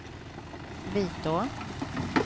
Vitå